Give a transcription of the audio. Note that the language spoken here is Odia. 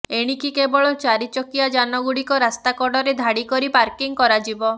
ଏଣିକି କେବଳ ଚାରି ଚକିଆ ଯାନ ଗୁଡିକ ରାସ୍ତା କଡରେ ଧାଡି କରି ପାର୍କିଂ କରାଯିବ